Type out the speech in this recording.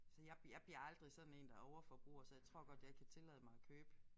Så jeg jeg bliver aldrig sådan én der overforbruger så jeg tror godt jeg kan tillade mig at købe